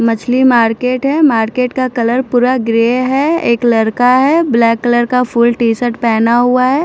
मछली मार्केट है मार्केट का कलर पूरा ग्रे है एक लड़का है ब्लैक कलर का फुल टीशर्ट पहना हुआ है।